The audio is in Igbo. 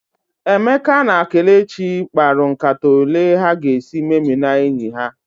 Emeka na Kelechi mkparu nkata ole ha ga esị meminaa enyi ha